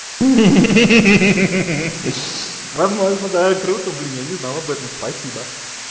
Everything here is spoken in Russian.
ха-ха возможно да круто блин я не знал об этом спасибо